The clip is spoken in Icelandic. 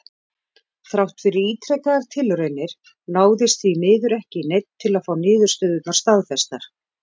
Þrátt fyrir ítrekaðar tilraunir náðist því miður ekki í neinn til að fá niðurstöðurnar staðfestar.